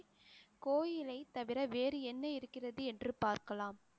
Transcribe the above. கோயிலைத் தவிர வேறு என்ன இருக்கிறது என்று பார்க்கலாம்